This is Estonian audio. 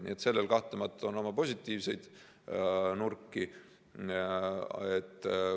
Nii et sellel kahtlemata on oma positiivseid nurki.